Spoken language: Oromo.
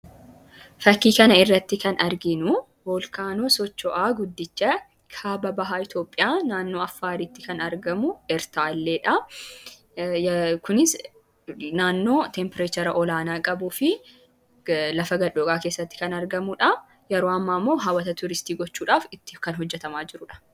Fakkii kana irratti kan argiinu volkaanoo socho'aa guddichaa kaaba bahaa Itoophiyaa naannoo affaariitti kan argamu ertaaleedha kunis naannoo tempireechara olaanaa qabuu fi lafa gad dhoqaa keessatti kan argamuudha. Yeroo amma ammoo haawwataa tuuristii gochuudhaaf itti kan hojjatamaa jiruudha.